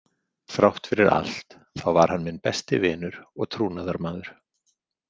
Þrátt fyrir allt þá var hann minn besti vinur og trúnaðarmaður.